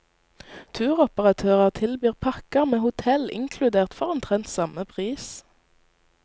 Turoperatører tilbyr pakker med hotell inkludert for omtrent samme pris.